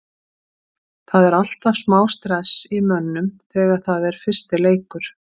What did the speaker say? Það er alltaf smá stress í mönnum þegar það er fyrsti leikur.